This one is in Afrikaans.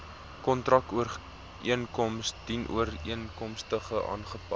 kontrakooreenkoms dienooreenkomstig aangepas